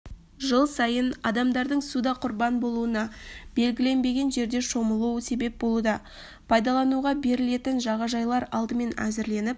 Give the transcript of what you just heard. жыл сайын адамдардың суда құрбан болуына белгіленбеген жерде шомылу себеп болуда пайдалануға берілетін жағажайлар алдымен әзірленіп